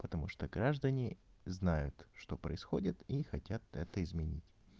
потому что граждане знают что происходит и хотят это изменить